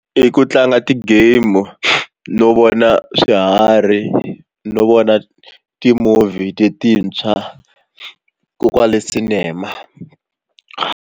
I ku tlanga ti-game no vona swiharhi no vona ti-movie letintshwa koho kwale Cinema.